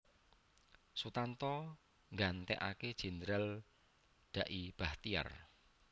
Sutanto nggantekaké Jendral Da i Bachtiar